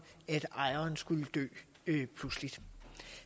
ejeren skulle dø pludseligt